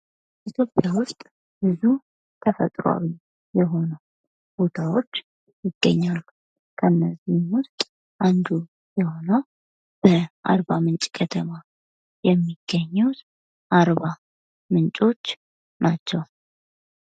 ኢትዮጵያ ዉስጥ ብዙ ተፈጥሯዊ የሆኑ ቦታዎች ይግኛሉ:: ከነዚህም ዉስጥ አንዱ የሆነው በአርባ ምንጭ ከተማ የሚገኘው አርባ ምንጮች ናቸው::